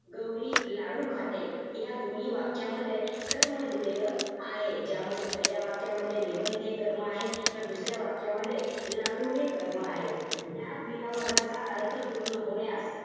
गौरी लाडू खाते. या दोन्ही वाक्यामध्ये कर्म दिलेलं आहे. त्यामध्ये, पहिल्या वाक्यामध्ये निबंध हे कर्म आहे. तर, दुसऱ्या वाक्यामध्ये, लाडू हे कर्म आहे. ज्या क्रियापदाचा अर्थ पूर्ण होण्यास,